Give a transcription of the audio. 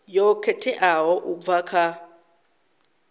yo khetheaho u bva kha